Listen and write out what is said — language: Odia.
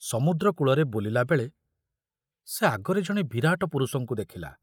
ସମୁଦ୍ର କୂଳରେ ବୁଲିଲା ବେଳେ ସେ ଆଗରେ ଜଣେ ବିରାଟ ପୁରୁଷଙ୍କୁ ଦେଖିଲା।